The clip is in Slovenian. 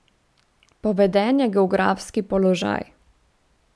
Poveden je geografski položaj.